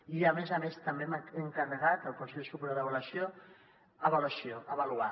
i a més a més també hem encarregat al consell superior d’avaluació avaluació avaluar